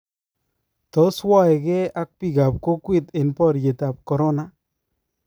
Tos waekee ak biikab kookwet en baryeetab corona